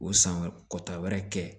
O san wɛrɛ kɔta wɛrɛ kɛ